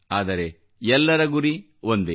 ಆದರೆ ಎಲ್ಲರ ಗುರಿ ಒಂದೇ